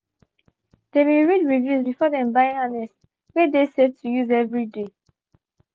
they been read reviews before them buy harness wey de safe to use everyday.